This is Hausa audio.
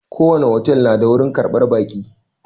Ko wani otel na da wurin ƙarɓar baƙi